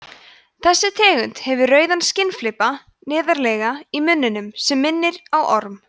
þessi tegund hefur rauðan skinnflipa neðarlega í munninum sem minnir á orm